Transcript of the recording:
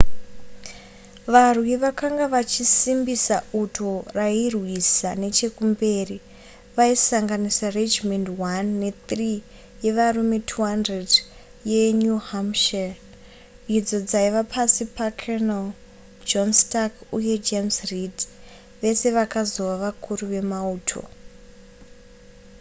varwi vakanga vachisimbisa uto rairwisa nechekumberi vaisanganisira regimendi 1 ne3 yevarume 200 yenew hampshire idzo dzaiva pasi pacolonel john stark uye james reed vese vakazova vakuru vemauto